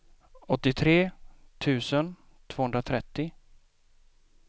åttiotre tusen tvåhundratrettio